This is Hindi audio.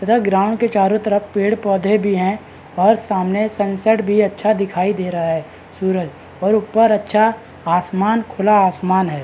तथा ग्राउंड के चारो तरफ पेड़-पौधे भी है और सामने सनसेट भी अच्छा दिखाई दे रहा है सूरज और ऊपर अच्छा आसमान खुला आसमान है।